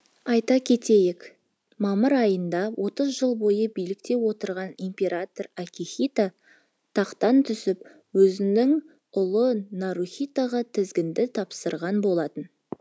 айта кетейік мамыр айында отыз жыл бойы билікте отырған император акихито тақтан түсіп өзінің ұлы нарухитоға тізгінді тапсырған болатын